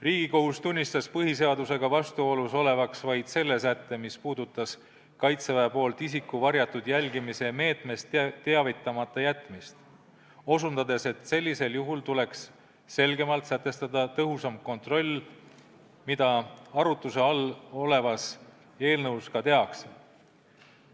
Riigikohus tunnistas põhiseadusega vastuolus olevaks vaid selle sätte, mis puudutas Kaitseväe poolt isiku varjatud jälgimise meetmest teavitamata jätmist, osutades, et sellisel juhul tuleks selgemalt sätestada tõhusam kontroll, mida arutuse all olevas eelnõus ka tehakse.